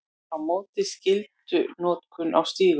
Á móti skyldunotkun á stígum